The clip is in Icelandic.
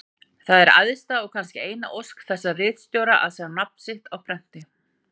Það er æðsta og kannski eina ósk þessara ritstjóra að sjá nafn sitt á prenti.